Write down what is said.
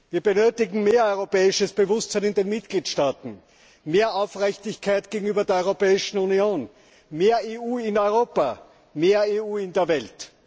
Wir benötigen mehr europäisches Bewusstsein in den Mitgliedstaaten, mehr Aufrichtigkeit gegenüber der Europäischen Union, mehr EU in Europa, mehr EU in der Welt.